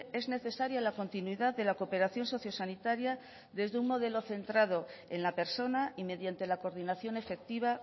es necesaria la continuidad de la cooperación sociosanitaria desde un modelo centrado en la persona y mediante la coordinación efectiva